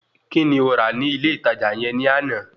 Kíni o rà ní ilé ìtajà yẹn ní àná?